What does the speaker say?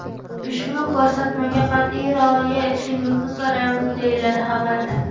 Ushbu ko‘rsatmaga qat’iy rioya etishingizni so‘raymiz”, deyiladi xabarda.